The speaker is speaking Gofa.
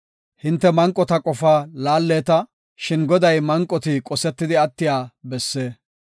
Hinte manqota qofaa laalleeta; shin Goday manqoti qosetidi attiya besse.